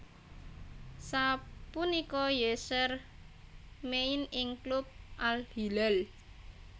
Sapunika Yasser main ing klub Al Hilal